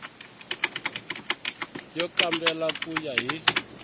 yo kambela ku ya hi